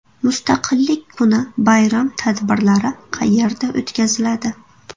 Mustaqillik kuni bayram tadbirlari qayerda o‘tkaziladi?.